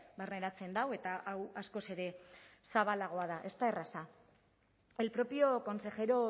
barneratzen du eta hau askoz ere zabalagoa da ez da erraza el propio consejero